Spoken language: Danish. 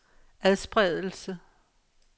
adspredelse